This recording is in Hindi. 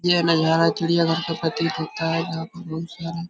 यह नज़ारा चिड़ियाघर का प्रतीत होता है। जहाँ पर बहुत सारा --